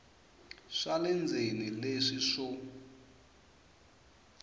swa le ndzeni leswi swo